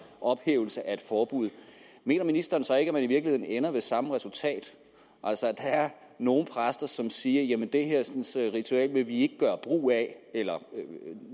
ophævelse af et forbud mener ministeren så ikke at man i virkeligheden ender med samme resultat altså at der er nogle præster som siger at det hersens ritual vil de ikke gøre brug af eller